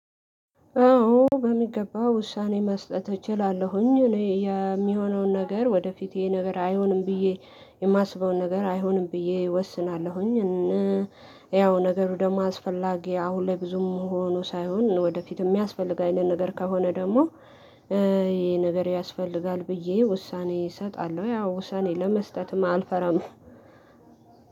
አዎ በሚገባ ውሳኔ መስጠት እችላለሁኝ። እኔ የሚሆነውን ነገር ወደፊቴ ነገር አይሆንም ብዬ የማስበውን ነገር አይሆንም ብዬ እወስናለሁኝ። ያው ነገሩ ደግሞ አስፈላጊ አሁን ላይ ብዙም ሆኖ ሳይሆን ወደፊት የሚያስፈልግ አይነት ነገር ከሆነ ደግሞ ይሄ ነገር ያስፈልጋል ብዬ ውሳኔ እሰጣለሁ ያው ውሳኔ ለመስጠትም አልፈራም።